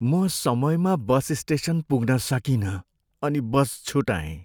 म समयमा bus station पुग्न सकिनँ अनि बस छुटाएँ।